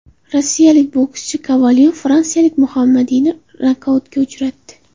Rossiyalik bokschi Kovalyov fransiyalik Muhammadiyni nokautga uchratdi.